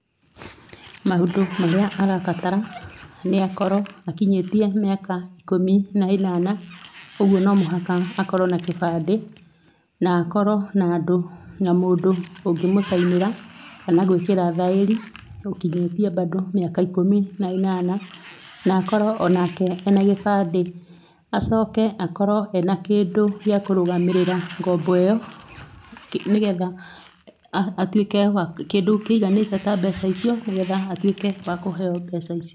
Maũndũ marĩa arabatara nĩ akorwo akĩnyĩtie mĩaka ĩkũmĩ na ĩnana ũgũo no mũhaka akorwo na gĩbandĩ, na akorwo na andũ na mũndũ ũngemũcainĩra kana gwĩkĩra thaĩrĩ ũkĩnyĩtĩe bandũ mĩaka ikũmĩ na ĩnana na akorwo onake ena gĩbandĩ, acoke akorwo ena kĩndũ gĩa kũrũmagĩrĩra ngombo ĩo nĩ getha atuĩke kĩndũ kĩĩganĩte ta mbeca ĩcĩo nĩgetha atuĩke wa kũheo mbeca icio.